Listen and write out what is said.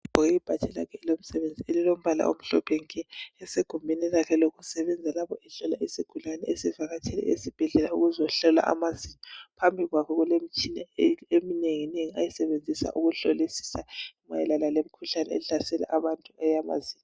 Ugqoke ibhatshi lakhe elomsebenzi elimhlophe nke. Usegumbini lakhe lokusebenzela lapho ohlola isigulane esivakatshele esibhedlela ukuzohlolwa amazinyo. Phambi kwakhe kulemitshina eminenginengi ayisebenzisa ukuhlolisisa mayelana lemikhuhlane ehlasela abantu eyamazinyo.